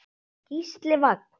Gísli Vagn.